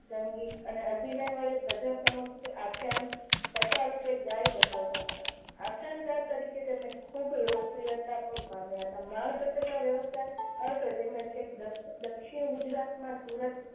સંગીત અને અભિનય વડે પ્રજા સમક્ષ તે આખ્યાનો કથા રૂપે ગાઈ બતાવતા હતા. આખ્યાનકાર તરીકે તેમણે ખૂબ લોકપ્રિયતા પણ પામ્યા હતા. માણભટ્ટ ના વ્યવસાય અર્થે તેમણે છેક દક્ષ દક્ષિણ ગુજરાત માં સુરત